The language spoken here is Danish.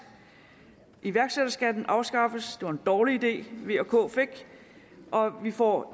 iværksætterskatten afskaffes det var en dårlig idé v og k fik og vi får